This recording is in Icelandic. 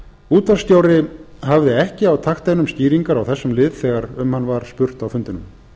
útvarpsstjóri hafði ekki á takteinum skýringar á þessum lið þegar um hann var spurt á fundinum